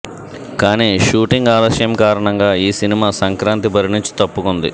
కానీ షూటింగ్ ఆలస్యం కారణంగా ఈ సినిమా సంక్రాంతి బరి నుంచి తప్పుకుంది